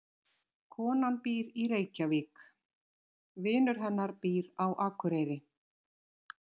Konan býr í Reykjavík. Vinur hennar býr á Akureyri.